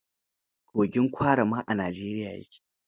Kogin Kwara ma a Najeriya ya ke.